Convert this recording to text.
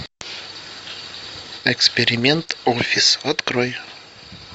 эксперимент офис открой